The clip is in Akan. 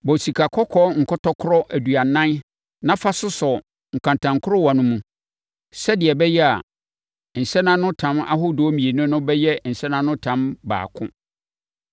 Bɔ sikakɔkɔɔ nkɔtɔkorɔ aduonum na fa sosɔ nkantankorowa no mu, sɛdeɛ ɛbɛyɛ a nsɛnanotam ahodoɔ mmienu no bɛyɛ nsɛnanotam baako.